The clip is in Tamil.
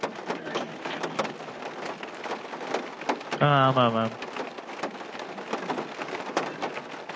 ஆ ஆமாம் mam